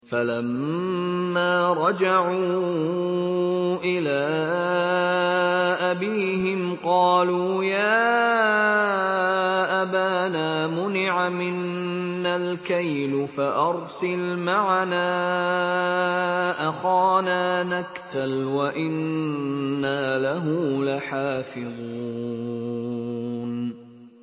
فَلَمَّا رَجَعُوا إِلَىٰ أَبِيهِمْ قَالُوا يَا أَبَانَا مُنِعَ مِنَّا الْكَيْلُ فَأَرْسِلْ مَعَنَا أَخَانَا نَكْتَلْ وَإِنَّا لَهُ لَحَافِظُونَ